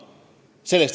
Piir oli ees.